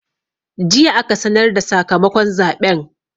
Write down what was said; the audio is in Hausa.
Jiya aka sanar da sakamakon zaɓen.